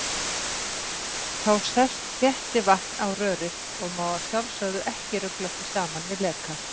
Þá sest þéttivatn á rörið og má að sjálfsögðu ekki rugla því saman við leka!